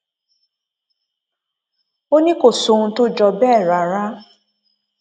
ó ní kò sóhun tó jọ bẹẹ rárá